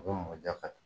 U bɛ mɔ ja ka